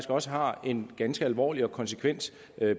også har en ganske alvorlig og konsekvent